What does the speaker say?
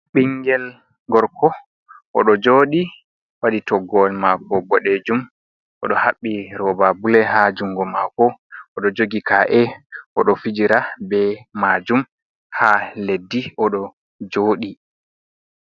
Ɓingel gorko oɗo joɗi waɗi toggowol mako boɗejum oɗo haɓɓi roba bule ha jungo mako oɗo jogi ka’e oɗo fijira be majum ha leddi oɗo joɗi.